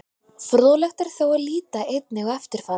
Fróðlegt er þó að líta einnig á eftirfarandi.